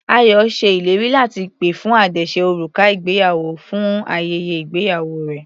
Ayọ ṣe ìlérí láti pè fún àdáse òrùka ìgbéyàwó fún ayẹyẹ ìgbéyàwó rẹ̀.